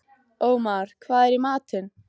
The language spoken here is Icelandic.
Ómar, hvað er í matinn?